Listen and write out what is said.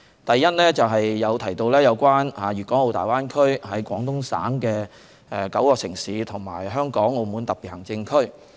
第一，有議員提到粵港澳大灣區內廣東省的9個城市，以及香港和澳門兩個特別行政區。